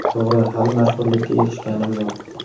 To‘g‘ri, hali mashhurlikka erishganim yo‘q.